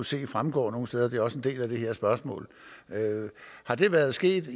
se fremgå nogen steder det er også en del af det her spørgsmål har det været sket